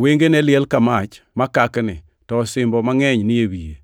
Wengene liel ka mach makakni, to osimbo mangʼeny ni e wiye.